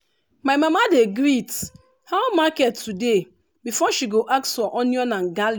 my mama dey greet “how market today?” before she go ask for onion and